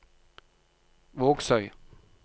Vågsøy